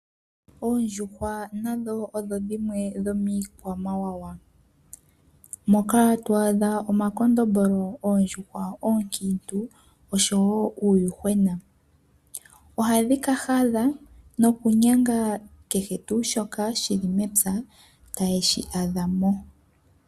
Oondjuhwa nadho odho dhimwe dhomiikwamawawa. Moka twaadha omakondombolo, oondjuhwa oonkiintu oshowoo uuyuhwena. Ohadhi ka hadha nokunyanga kehe tuu shoka shili mepya taye shi adhamo.